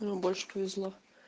нам больше повезло